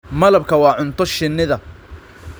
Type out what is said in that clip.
Malabku waa cunto shinnida.